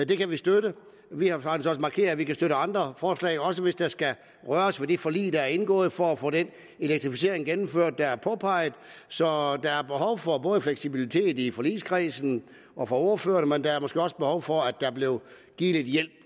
det kan vi støtte vi har faktisk også markeret at vi kan støtte andre forslag også hvis der skal røres ved det forlig der er indgået for at få den elektrificering gennemført der er påpeget så der er behov for både fleksibilitet i forligskredsen og fra ordførerne men der er måske også behov for at der blev givet lidt hjælp